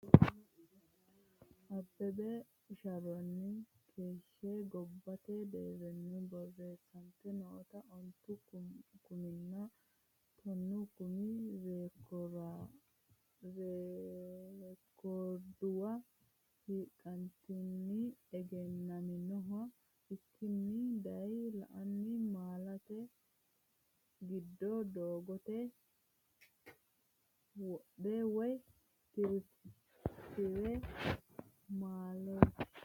Abbebe sharrosinni keeshshe gobbate deerrinni borreessante noota ontu kuminna tonnu kumi rekoorduwa hiiqqatenni egennaminoha ikkanni dayi, La’inanni malaatta giddo doogote wodho woy tiraafiiqete malaati?